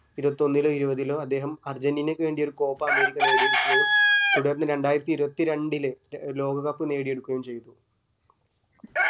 ഇരുവത്തി ഒന്നിലോ ഇരുവത്തിലോ അദ്ദേഹം അർജന്റീനയ്ക് വേണ്ടി ഒരു copa അമേരിക്ക നേടിയെടുക്കുകയും തുടർന്ന് രണ്ടായിരത്തി ഇരുവത്തിരണ്ടില് loka cup നേടിയെടുക്കുകയും ചെയ്തു